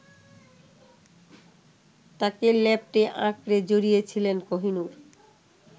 তাঁকে ল্যাপটে-আঁকড়ে জড়িয়েছিলেন কোহিনূর